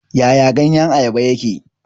Yaya ganyen Ayaba yake?